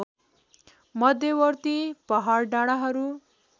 मध्यवर्ती पहाड डाँडाहरू